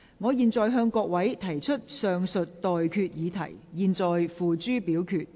我現在向各位提出上述待決議題，付諸表決。